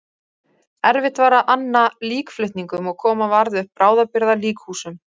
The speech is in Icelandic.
Erfitt var að anna líkflutningum og koma varð upp bráðabirgða líkhúsum.